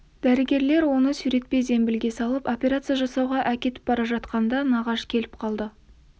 дәрігерлер оны сүйретпе зембілге салып операция жасауға әкетіп бара жатқанда нағаш келіп қалды